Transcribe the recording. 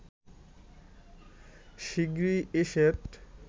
শিগগিরই এ সেট